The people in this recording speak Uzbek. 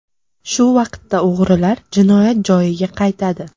Shu vaqtda o‘g‘rilar jinoyat joyiga qaytadi.